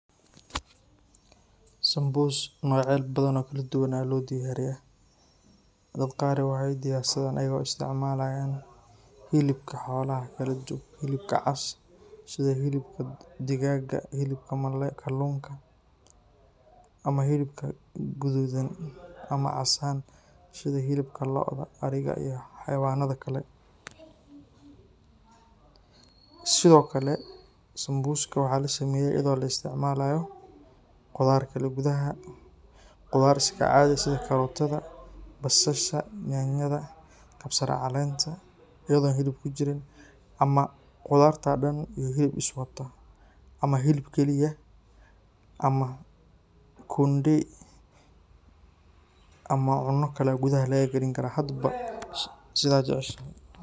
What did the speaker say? Sambuus magacayacya bathan oo kaladuduwan Aya lodiyariyah dadaka qaar waxay diyarsadah ayago isticmalayan helibka xolaha caas setha helibka degaga helibka kaluunga amah helibka kuthuthan amah caas ahaan setha helibka looda ariga iyo xawanatha Kali sethokali sambuuska waxalasameeyah iyado la isticmalayo qutharta kuthaha setha basasha nyanyatha cabsar caleenta iyado helib kujirin amah qutharta dhan amah helib Kali aah kundee amah cunakali kuthaha lagakalinkarah hadba setha jaceshashay.